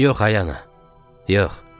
Yox ay ana, yox.